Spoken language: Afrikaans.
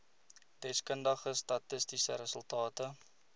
deskundige statistiese resultate